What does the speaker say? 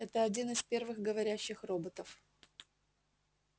это один из первых говорящих роботов